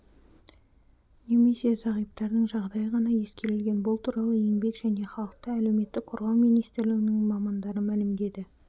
немесе зағиптардың жағдайы ғана ескерілген бұл туралы еңбек және халықты әлеуметтік қорғау министрлігінің мамандары мәлімдеді